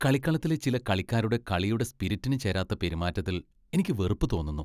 കളിക്കളത്തിലെ ചില കളിക്കാരുടെ കളിയുടെ സ്പിരിറ്റിന് ചേരാത്ത പെരുമാറ്റത്തിൽ എനിക്ക് വെറുപ്പ് തോന്നുന്നു.